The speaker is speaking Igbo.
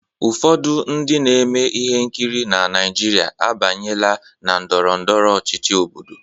Ụfọdụ ndị na-eme ihe nkiri na Naịjirịa abanyela na ndọrọ ndọrọ ọchịchị Obodo.